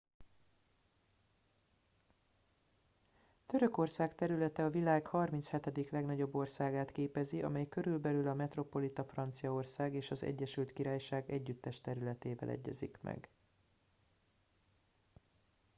törökország területe a világ 37. legnagyobb országát képezi amely körülbelül a metropolita franciaország és az egyesült királyság együttes területével egyezik meg